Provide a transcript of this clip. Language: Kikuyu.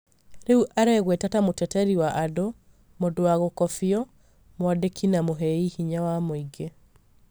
rĩu aregweta ta mũteteri wa andu, mũndũ wa gũkobio, mwandĩki na mũhei hinya wa muingĩ